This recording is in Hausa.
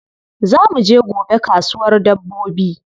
Za mu je gobe kasuwar dabbobi.